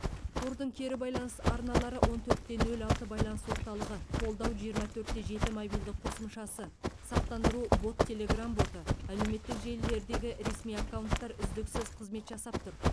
қордың кері байланыс арналары он төрт те нөл алты байланыс орталығы қолдау жиырма төрт те жеті мобильді қосымшасы сақтандыру бот телеграмм боты әлеуметтік желілердегі ресми аккаунттар үздіксіз қызмет жасап тұр